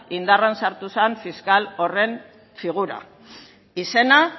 indarrean sartu zen fiskal horren figura izena